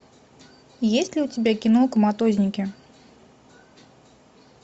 есть ли у тебя кино коматозники